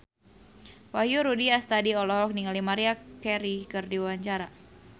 Wahyu Rudi Astadi olohok ningali Maria Carey keur diwawancara